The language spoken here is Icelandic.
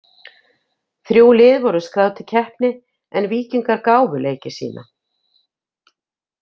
Þrjú lið voru skráð til keppni en Víkingar gáfu leiki sína.